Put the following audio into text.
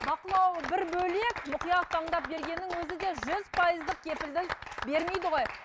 бақылауы бір бөлек мұқият таңдап бергеннің өзі де жүз пайыздық кепілдік бермейді ғой